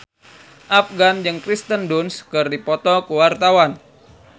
Afgan jeung Kirsten Dunst keur dipoto ku wartawan